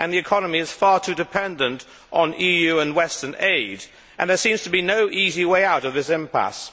The economy is far too dependent on EU and Western aid, and there seems to be no easy way out of this impasse.